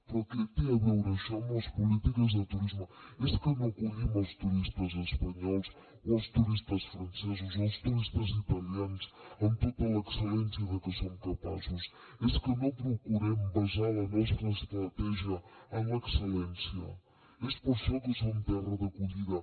però què té a veure això amb les polítiques de turisme és que no acollim els turistes espanyols o els turistes francesos o els turistes italians amb tota l’excel·lència de què som capaços és que no procurem basar la nostra estratègia en l’excel·lència és per això que som terra d’acollida